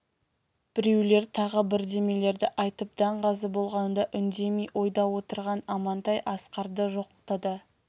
біреулер тағы бірдемелерді айтып даңғаза болғанда үндемей ойда отырған амантай асқарды жоқтады